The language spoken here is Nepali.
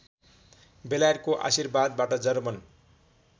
बेलायतको आशीर्वादबाट जर्मन